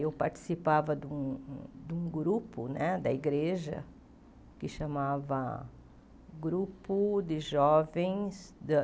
Eu participava de um de um grupo né da igreja que chamava Grupo de Jovens da